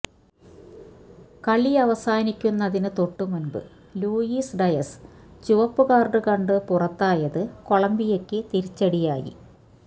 കളിയവസാനിക്കുന്നതിന് തൊട്ടുമുന്പ് Luis Diaz ചുവപ്പുകാര്ഡ് കണ്ട് പുറത്തായത് കൊളംബിയയ്ക്ക് തിരിച്ചടിയായി